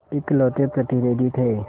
इकलौते प्रतिनिधि थे